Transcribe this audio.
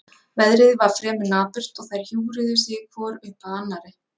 Veðrið var fremur napurt og þær hjúfruðu sig hvor upp að annarri.